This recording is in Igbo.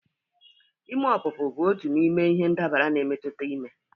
Ime ọpụpụ bụ otu n'ime ihe ndabara na-emetụta ime